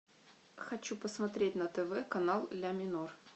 хочу посмотреть на тв канал ля минор